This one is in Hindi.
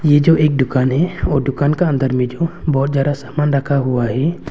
यह जो एक दुकान है और दुकान के अंदर में जो बहुत ज्यादा सामान रखा हुआ है।